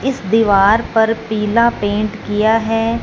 इस दीवार पर पीला पेंट किया है।